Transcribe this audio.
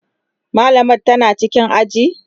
mallamar tana cikin aji?